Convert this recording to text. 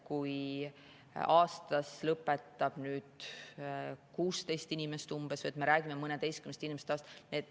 Aastas lõpetab umbes 16 inimest, me räägime mõneteistkümnest inimesest aastas.